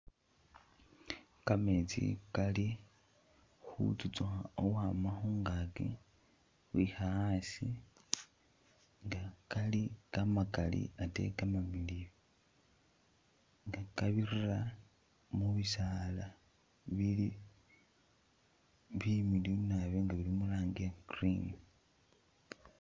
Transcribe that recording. Kameetsi Kali khutsutaukha khukhwama khungaaki khukhwikha asi, Kali kamakaali ate kamamiliyu kabirira mu'bisaala bili bimiliyu naabi nga bili muranji iya'green